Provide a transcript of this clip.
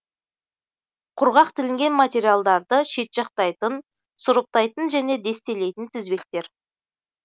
құрғақ тілінген материалдарды шетжақтайтын сұрыптайтын және дестелейтін тізбектер